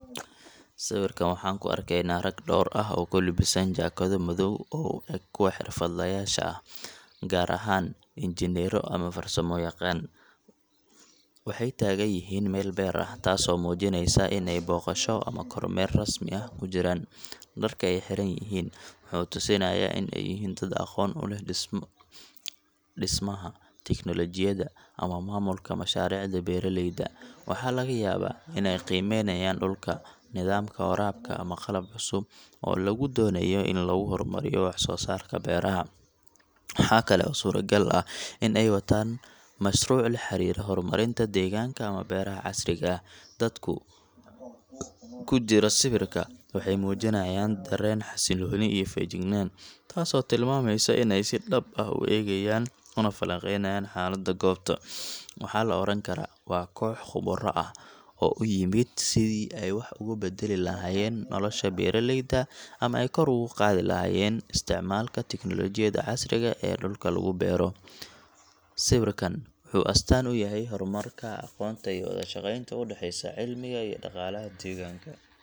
Sawirkan waxaan ku arkaynaa rag dhowr ah oo ku labisan jaakado madow oo u eg kuwa xirfadlayaasha ah, gaar ahaan injineerro ama farsamoyaqaano. Waxay taagan yihiin meel beer ah, taasoo muujinaysa in ay booqasho ama kormeer rasmi ah ku jiraan. Dharka ay xiran yihiin wuxuu tusinayaa in ay yihiin dad aqoon u leh dhismaha, tiknoolajiyadda ama maamulka mashaariicda beeraleyda. Waxaa laga yaabaa in ay qiimeynayaan dhulka, nidaamka waraabka, ama qalab cusub oo lagu doonayo in lagu horumariyo wax-soosaarka beeraha. Waxaa kale oo suuragal ah in ay wataan mashruuc la xiriira horumarinta deegaanka ama beeraha casriga ah. Dadku ku jira sawirka waxay muujiyaan dareen xasilooni iyo feejignaan, taasoo tilmaamaysa in ay si dhab ah u eegayaan una falanqeynayaan xaaladda goobta. Waxaa la oran karaa waa koox khubaro ah oo u yimid sidii ay wax uga beddeli lahaayeen nolosha beeraleyda ama ay kor ugu qaadi lahaayeen isticmaalka tignoolajiyadda casriga ah ee dhulka lagu beero. Sawirkan wuxuu astaan u yahay horumarka, aqoonta iyo wada shaqeynta u dhexeysa cilmiga iyo dhaqaalaha deegaanka.